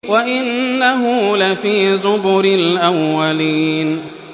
وَإِنَّهُ لَفِي زُبُرِ الْأَوَّلِينَ